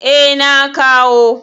Eh, na kawo.